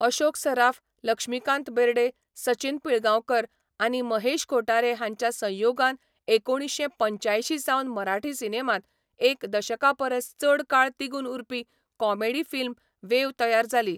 अशोक सराफ, लक्ष्मीकांत बेरडे, सचिन पिलगांवकार आनी महेश कोठारे हांच्या संयोगान एकुणीशें पंच्यांयशीं सावन मराठी सिनेमांत एक दशका परस चड काळ तिगून उरपी कॉमेडी फिल्म वेव तयार जाली.